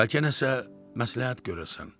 Bəlkə nəsə məsləhət görəsən?